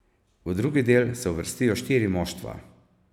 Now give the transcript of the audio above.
V drugi del se uvrstijo štiri moštva.